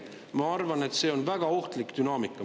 Ma arvan, et see on väga ohtlik dünaamika.